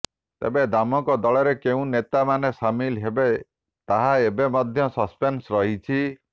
ତେବେ ଦାମଙ୍କ ଦଳରେ କେଉଁ ନେତା ମାନେ ସାମିଲ ହେବେ ତାହା ଏବେ ମଧ୍ୟ ସସପେନ୍ସରେ ରହିଛି